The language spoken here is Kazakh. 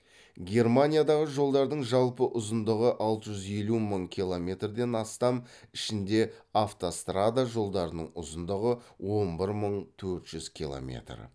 германиядағы жолдардың жалпы ұзындыгы алты жүз елу мың километрден астам